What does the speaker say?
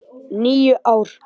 . níu ár!